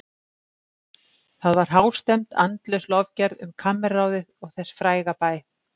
Það var hástemmd, andlaus lofgerð um kammerráðið og þess fræga bæ.